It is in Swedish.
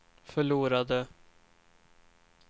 förlorade